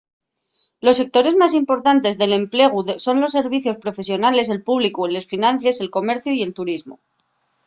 los sectores más importantes del emplegu son los servicios profesionales el públicu les finances el comerciu y el turismu